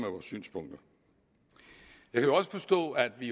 vores synspunkter jeg kan også forstå at vi